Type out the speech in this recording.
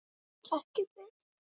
Ég get ekki betur.